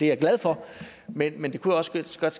jeg glad for men men det kunne også godt